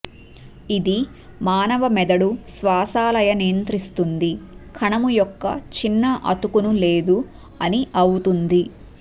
ఇది మానవ మెదడు శ్వాస లయ నియంత్రిస్తుంది కణము యొక్క చిన్న అతుకును లేదు అని అవుతుంది